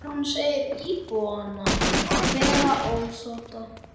Guðrún segir íbúana vera ósátta.